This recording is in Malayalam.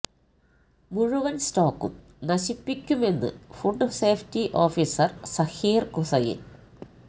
മുഴുവൻ സ്റ്റോക്കും നശിപ്പിക്കുമെന്ന് food safety officer Zakir Hussain